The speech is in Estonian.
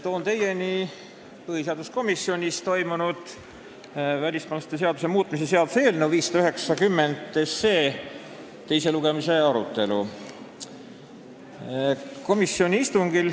Toon teieni põhiseaduskomisjonis toimunud välismaalaste seaduse muutmise seaduse eelnõu 590 teise lugemise arutelu.